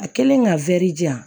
A kɛlen ka di yan